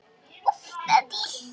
Og var beðinn að mæta.